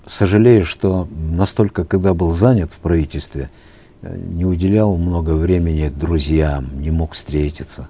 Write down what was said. сожалею что настолько когда был занят в правительстве э не уделял много времени друзьям не мог встретиться